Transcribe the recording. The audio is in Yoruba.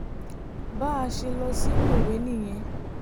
bá a ṣe lọ sí mòwe nìyẹn